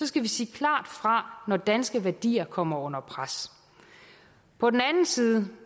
skal vi sige klart fra når danske værdier kommer under pres på den anden side